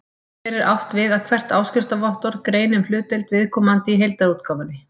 Hér er átt við að hvert áskriftarvottorð greini um hlutdeild viðkomandi í heildarútgáfunni.